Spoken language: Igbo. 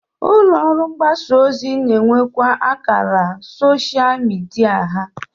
Ụlọọrụ mgbasa ozi na-enwekwa akara soshal midia ha